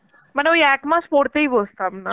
মানে ওই এক মাস পড়তেই বসতাম না